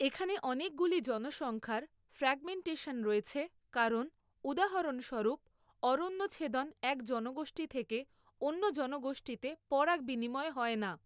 এখানে অনেকগুলি জনসংখ্যার ফ্রাগমেন্টেশন রয়েছে কারণ উদাহরণস্বরূপ অরণ্যছেদন এক জনগোষ্ঠী থেকে অন্য জনগোষ্ঠীতে পরাগ বিনিময় হয় না।